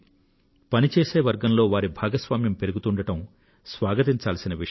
పని చేసే వర్గంలో వారి భాగస్వామ్యం పెరుగుతూండడం స్వాగతించాల్సిన విషయం